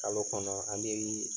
Kalo kɔnɔ an mi